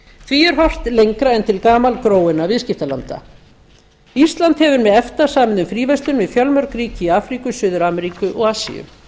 því er horft lengra en til gamalgróinna viðskiptalanda ísland hefur með efta samið um fríverslun við fjölmörg ríki í afríku suður ameríu og asíu